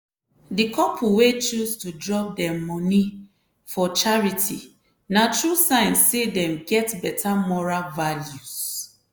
di couple wey choose to drop dem moni for charity na true sign say dem get beta moral values!